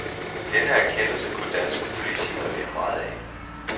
Denne erkendelse kunne danske politikere lære meget af.